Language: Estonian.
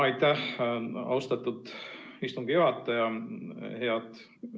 Aitäh, austatud istungi juhataja!